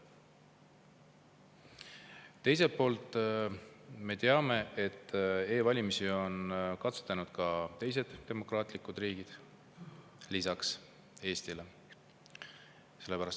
Teiselt poolt me teame, et e-valimisi on katsetanud ka teised demokraatlikud riigid lisaks Eestile.